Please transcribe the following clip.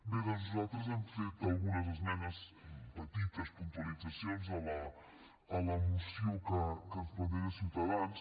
bé doncs nosaltres hem fet algunes esmenes petites puntualitzacions a la moció que ens planteja ciutadans